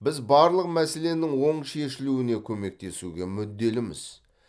біз барлық мәселенің оң шешілуіне көмектесуге мүдделіміз